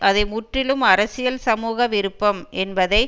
அதை முற்றிலும் அரசியல் சமூக விருப்பம் என்பதை